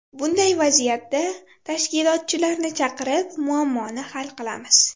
Bunday vaziyatda tashkilotchilarni chaqirib muammoni hal qilamiz.